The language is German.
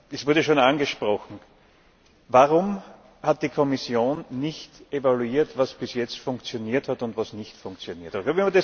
Es wurde schon angesprochen Warum hat die Kommission nicht evaluiert, was bis jetzt funktioniert hat und was nicht funktioniert hat?